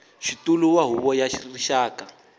xitulu wa huvo ya rixaka